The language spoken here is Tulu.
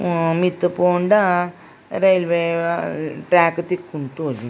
ಹ್ಮ್ ಮಿತ್ತ್ ಪೋಂಡ ರೈವೆ ಟ್ರಾಕ್ ತಿಕ್ಕುಂಡು ತೋಜುಂಡು.